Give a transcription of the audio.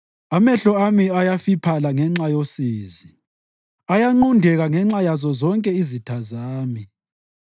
Amehlo ami ayafiphala ngenxa yosizi; ayanqundeka ngenxa yazo zonke izitha zami.